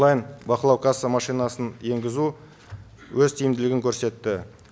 онлайн бақылау касса машинасын енгізу өз тиімділігін көрсетті